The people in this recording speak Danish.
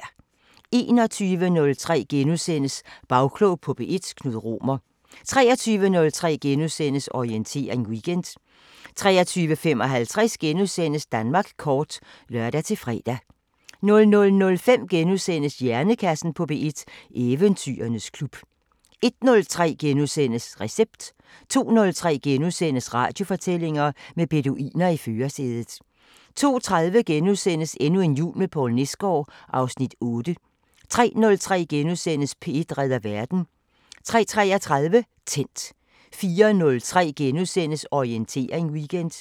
21:03: Bagklog på P1: Knud Romer * 23:03: Orientering Weekend * 23:55: Danmark kort *(lør-fre) 00:05: Hjernekassen på P1: Eventyrernes klub * 01:03: Recept * 02:03: Radiofortællinger: Med beduiner i førersædet * 02:30: Endnu en jul med Poul Nesgaard (Afs. 8)* 03:03: P1 redder verden * 03:33: Tændt 04:03: Orientering Weekend *